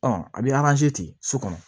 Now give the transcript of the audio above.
Ɔ a bɛ ten so kɔnɔ